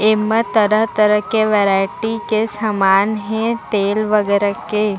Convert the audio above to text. एमा तरह - तरह के वैरायटी के सामान हे तेल वगेरा के --